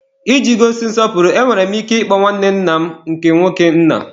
Iji gosi nsọpụrụ, enwere m ike ịkpọ nwanne nna m nke nwoke, nna.